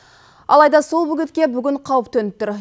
алайда сол бөгетке бүгін қауіп төніп тұр